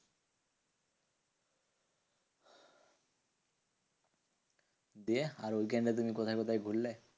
দিয়ে আর ঐখানে তুমি কোথায় কোথায় ঘুরলে?